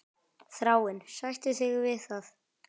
Þráinn, sættu þig við það!